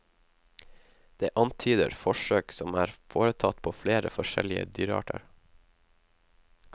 Det antyder forsøk som er foretatt på flere forskjellige dyrearter.